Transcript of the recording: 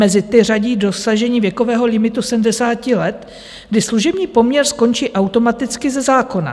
Mezi ty řadí dosažení věkového limitu 70 let, kdy služební poměr skončí automaticky ze zákona.